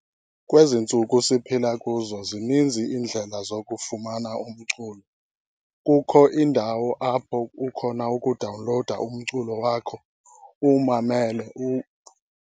Kwezi ntsuku siphila kuzo zininzi iindlela zokufumana umculo, kukho indawo apho kukhona ukudawunlowuda umculo wakho, uwumamele